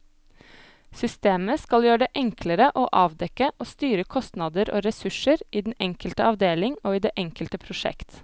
Systemet skal gjøre det enklere å avdekke og styre kostnader og ressurser i den enkelte avdeling og i det enkelte prosjekt.